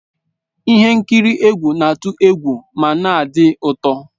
Ihe nkiri egwu na-atụ egwu ma na-adị ụtọ.